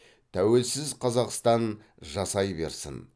тәуелсіз қазақстан жасай берсін